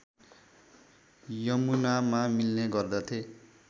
यमुनामा मिल्ने गर्दथे